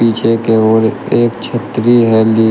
पीछे की ओर एक छतरी है ली।